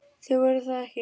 Þau voru það ekki.